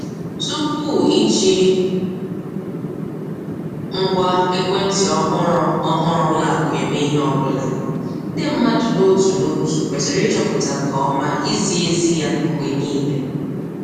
Tupu iji ngwa ekwentị ọhụrụ ọhụrụ ụlọakụ eme ihe ọ bụla, ndị mmadụ n'otu n'otu kwesịrị ịchọpụta nke ọma izi ezi ya mgbe niile.